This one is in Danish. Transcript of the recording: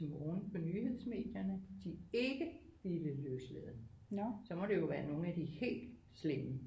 Til morgen på nyhedsmedierne de ikke ville løslade så må det jo være nogle af de helt slemme